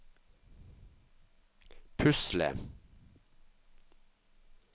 pusle